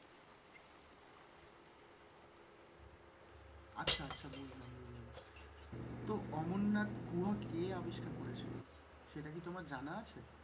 আচ্ছা আচ্ছা বুঝলাম বুঝলাম তো অমরনাথ গুহা কে আবিষ্কার করেছিল সেটা কি তোমার জানা আছে?